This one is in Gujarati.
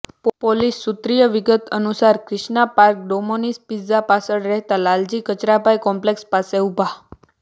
પોલીસ સૂત્રીય વિગત અનુસાર ક્રિષ્ના પાર્ક ડોમોનિઝ પીઝા પાછળ રહેતા લાલજી કચરાભાઈ કોમ્પ્લેક્ષ પાસે ઉભા